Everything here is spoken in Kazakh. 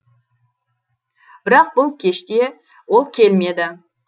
бірақ бұл кеште ол келмеді